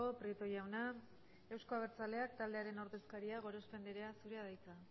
prieto jauna euzko abertzaleak taldearen ordezkaria gorospe anderea zurea da hitza